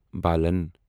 بالن